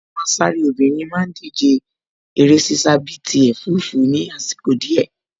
Àwọn asáré obìnrin má ń díje eré ṣíṣá bíi ti ẹ̀fúùfù ní àsìkò díẹ̀